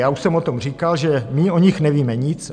Já už jsem o tom říkal, že my o nich nevíme nic.